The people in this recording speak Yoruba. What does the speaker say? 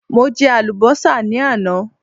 mo je alubosa ni àná